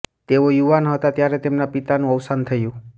તેઓ યુવાન હતા ત્યારે તેમના પિતાનું અવસાન થયું